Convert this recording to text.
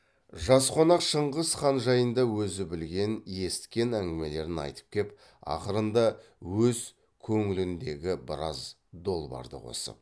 жас қонақ шыңғыс хан жайында өзі білген есіткен әңгімелерін айтып кеп ақырында өз көңіліндегі біраз долбарды қосып